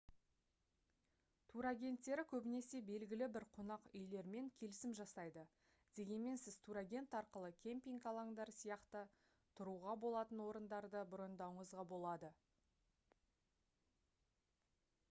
тур агентттері көбінесе белгілі бір қонақ үйлермен келісім жасайды дегенмен сіз тур агент арқылы кемпинг алаңдары сияқты тұруға болатын орындарды брондауыңызға болады